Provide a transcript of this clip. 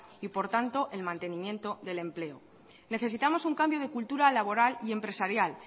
y por tanto el mantenimiento del empleo necesitamos un cambio de cultura laboral y empresarial